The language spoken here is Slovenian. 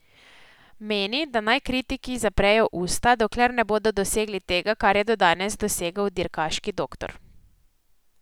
Meni, da naj kritiki zaprejo usta, dokler ne bodo dosegli tega, kar je do danes dosegel dirkaški doktor.